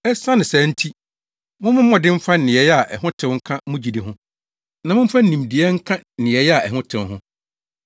Esiane saa nti, mommɔ mmɔden mfa nneyɛe a ɛho tew nka mo gyidi ho; na momfa nimdeɛ nka nneyɛe a ɛho tew ho;